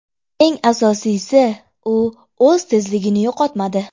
Eng asosiysi, u o‘z tezligini yo‘qotmadi.